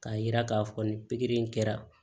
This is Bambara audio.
K'a yira k'a fɔ ni pikiri in kɛra